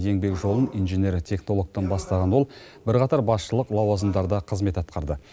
еңбек жолын инженер технологтан бастаған ол бірқатар басшылық лауазымдарда қызмет атқарды